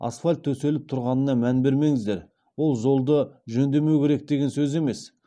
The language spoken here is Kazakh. асфальт төселіп тұрғанына мән бермеңіздер ол жолды жөндемеу керек деген сөз емес